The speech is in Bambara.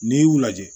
N'i y'u lajɛ